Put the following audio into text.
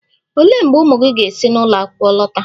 Olee mgbe ụmụ gị ga-esi n'ụlọ akwụkwọ lọta?